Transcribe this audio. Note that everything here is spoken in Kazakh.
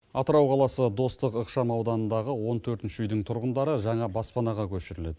атырау қаласы достық ықшам ауданындағы он төртінші үйдің тұрғындары жаңа баспанаға көшіріледі